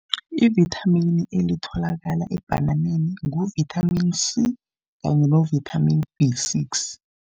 Ivithamini elitholakala ebhananeni ngu-vitamin C kanye no-vitamin B six.